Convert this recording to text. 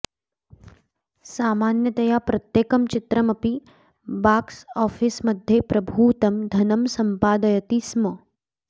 सामान्यतया प्रत्येकं चित्रम् अपि बाक्स् आफीस् मध्ये प्रभूतं धनं सम्पादयती स्म